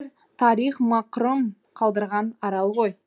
тарих мақрұм қалдырған арал ғой